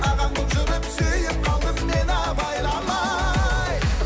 ағаң болып жүріп сүйіп қалдым мен абайламай